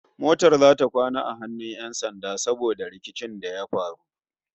Motar zata kwana a hannun 'yan sanda saboda rikicin da ya faru